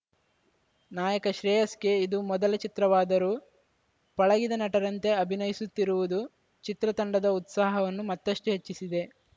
ನಾಯಕ ಶ್ರೇಯಸ್‌ಗೆ ಇದು ಮೊದಲ ಚಿತ್ರವಾದರೂ ಪಳಗಿದ ನಟರಂತೆ ಅಭಿನಯಿಸುತ್ತಿರುವುದು ಚಿತ್ರ ತಂಡದ ಉತ್ಸಾಹವನ್ನು ಮತ್ತಷ್ಟುಹೆಚ್ಚಿಸಿದೆ